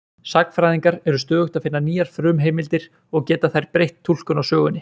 Sagnfræðingar eru stöðugt að finna nýjar frumheimildir og geta þær breytt túlkun á sögunni.